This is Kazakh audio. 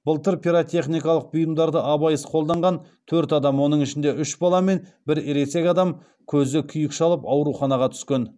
былтыр пиротехникалық бұйымдарды абайсыз қолданған төрт адам оның ішінде үш бала мен бір ересек адам көзі күйік шалып ауруханаға түскен